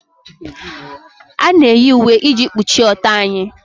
A na-eyi uwe iji kpuchie ọtọ anyị